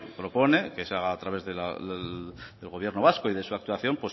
propone que se haga a través del gobierno vasco y de su actuación